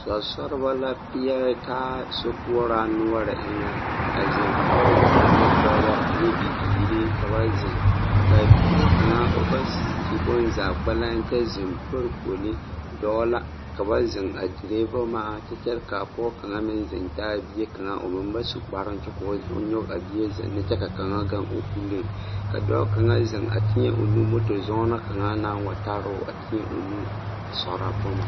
Sɔresɔribo la pɛɛre taa a sokoɔraa noɔre eŋɛ a zeŋ pɔɔbɔ ane dɔbɔ ane bibiire ka ba zeŋ kaa bie kaŋa o ba su bonzaa kpɛlɛŋ kyɛ zeŋ pare kpoli dɔɔ la ka ba zeŋ a dire boma kyɛ kyɛre kaa pɔɔ kaŋa meŋ zeŋ taa bie kaŋa o meŋ ba su kparoŋ kyɛ koo o nyoge a bie zeŋne kyɛ ka kaŋa gaŋ o puliŋ ka dɔɔ kaŋa zeŋ a teɛ o nu moto zɔɔnɔ kaŋa naŋ wa taroo a teɛ o nu a sɔrɔ boma.